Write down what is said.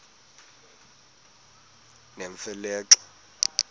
nemfe le xa